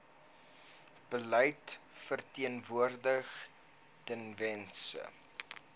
beleid verteenwoordig tewens